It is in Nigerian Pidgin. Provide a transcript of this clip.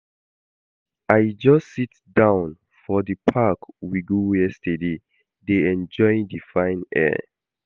I just sit down for the park we go yesterday dey enjoy the fine air